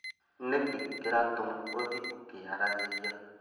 Nĩkĩ kĩratũma ũthiĩ ũkĩyaragĩria